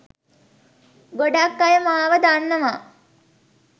ගොඩක් අය මාව දන්නවා.